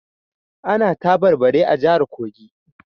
Ana tabarbare a jihar Kogi